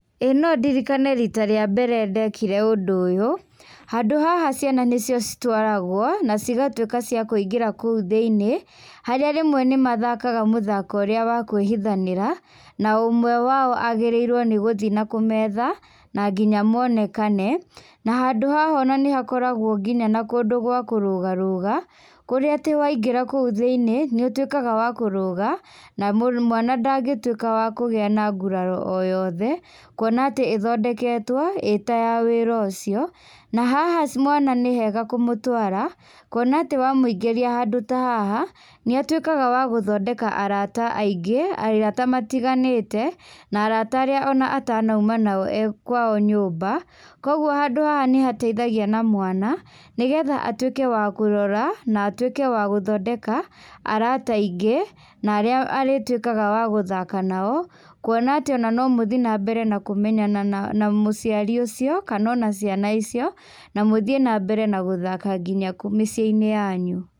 Ĩĩ no ndirikane rĩta rĩa mbere ndekire ũndũ ũyũ, handũ haha nĩho ciana citũaragwo, na cigatuĩka cia gũthiĩ kũu thĩinĩ, harĩa rĩmwe nĩ mathakaga mũthako ũrĩa wa kũĩhithanĩra, na ũmwe wao agĩrĩirwo gũthiĩ na kũmetha na nginya monekane. Na handũ haha nĩ hakoragwo nginya na handũ gwa kũrũgarũga, kũrĩa atĩ waingĩra kũu thĩiniĩ nĩ ũtuikaga wa kũrũga, na mwana ndangĩtuĩka wa kũgĩa na nguraro o yothe, kuona atĩ ĩthondeketwo ĩtayawĩra ũcio. Na haha nĩ wega kũmũtwara, kũona atĩ wamũingĩria handũ ta haha, nĩ atuĩkaga wa gũthondeka arata aingĩ, arata matiganĩte, na arata arĩa atanauma nao ekwao nyũmba. Koguo handũ haha nĩ hateithagia na mwana, nĩgetha atuĩke wa kũrora na atuĩke wa gũthondeka arata aingĩ, na arĩa arĩtuĩkaga wa gũthaka nao, kwona atĩ no mũthiĩ na mbere kũmenyana na aciari acio, kana ona ciana ocio, na mũthiĩ na mbere gũthaka nginya mĩciĩ-inĩ yanyu.